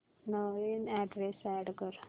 नवीन address add कर